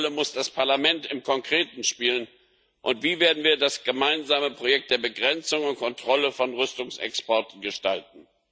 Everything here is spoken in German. Welche Rolle muss das Parlament im Konkreten spielen, und wie werden wir das gemeinsame Projekt der Begrenzung und Kontrolle von Rüstungsexporten gestalten?